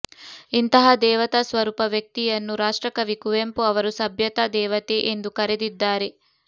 ಇಂತಹ ದೇವತಾ ಸ್ವರೂಪ ವ್ಯಕ್ತಿಯನ್ನು ರಾಷ್ಟ್ರಕವಿ ಕುವೆಂಪು ಅವರು ಸಭ್ಯತಾ ದೇವತೆ ಎಂದು ಕರೆದಿದ್ದಾರೆ